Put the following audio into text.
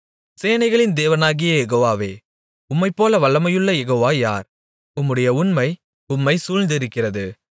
சேனைகளின் தேவனாகிய யெகோவாவே உம்மைப்போல வல்லமையுள்ள யெகோவா யார் உம்முடைய உண்மை உம்மைச் சூழ்ந்திருக்கிறது